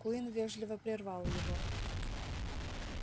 куинн вежливо прервал его